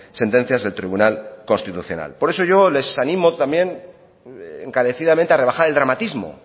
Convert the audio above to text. sentencias del tribunal constitucional por eso yo les animo también encarecidamente a rebajar el dramatismo